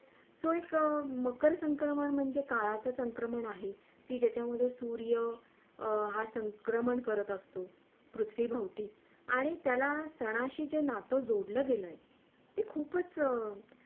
तो एक मकर संक्रमण म्हणजे काळाचे संक्रमण आहे कि ज्याच्या मधे सूर्य हा संक्रमण करत असतो पृथ्वी भवती आणि त्याला सणाशी जे नातं जोडले गेलंय ते खूप अं